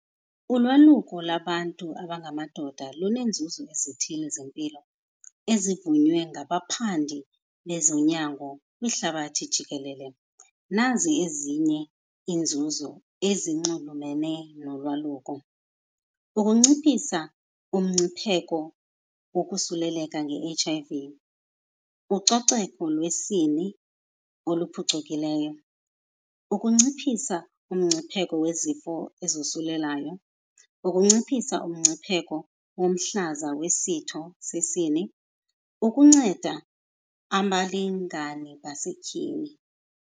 Ulwaluko labantu abangamadoda luneenzuzo ezithile zempilo ezivunywe ngabaphandi bezonyango kwihlabathi jikelele. Nazi ezinye iinzuzo ezinxulumene nolwaluko. Ukunciphisa umngcipheko wokosuleleka nge-H_I_V, ucoceko lwesini oluphucukileyo, ukunciphisa umngcipheko wezifo ezosulelayo, ukunciphisa umngcipheko womhlaza wesitho sesini, ukunceda abalingani basetyhini.